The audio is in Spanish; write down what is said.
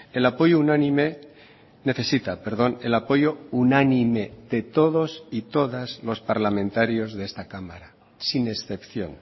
el apoyo unánime necesita perdón el apoyo unánime de todos y todas los parlamentarios de esta cámara sin excepción